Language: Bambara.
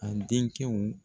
A denkɛw